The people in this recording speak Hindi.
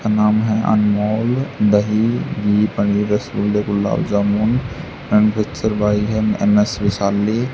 का नाम है अनमोल दही घी पनीर रस गुल्ले गुलाब जामुन एंड एन_एस वैशाली।